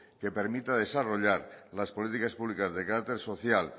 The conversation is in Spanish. que permita desarrollar las políticas públicas de carácter social